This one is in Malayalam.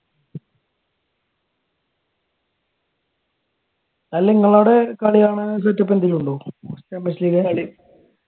അല്ല നിങ്ങളവിടെ കളികാണാൻ setup വല്ലോം ഉണ്ടോ